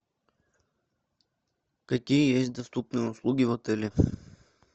какие есть доступные услуги в отеле